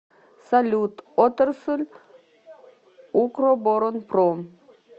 салют отрасль укроборонпром